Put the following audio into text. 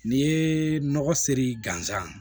N'i ye nɔgɔ siri gansan